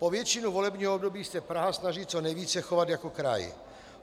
Po většinu volebního období se Praha snaží co nejvíce chovat jako kraj.